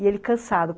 E ele cansado.